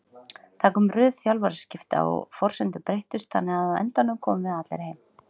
Það kom röð þjálfaraskipta og forsendur breyttust þannig að á endanum komum við allir heim.